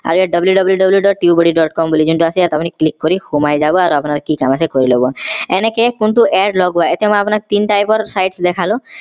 আৰু ইয়াত wwww. tubebuddy. com বুলি আছে যোনটো আপুনি click কৰি সোমাই যাব আৰু আপোনাৰ কি কাম আছে কৰিলব এনেকে কোনটো add লগোৱা এতিয়া মই আপোনাক তিনি type ৰ sites দেখালো